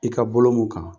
I ka bolo mun kan